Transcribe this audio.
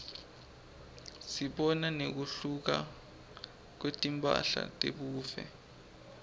sibona nekuhluka kwetimphahla tebuve